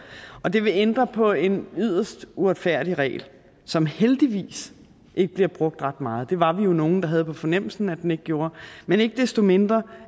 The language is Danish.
og det vil ændre på en yderst uretfærdig regel som heldigvis ikke bliver brugt ret meget det var vi jo nogle der havde på fornemmelsen at den ikke gjorde men ikke desto mindre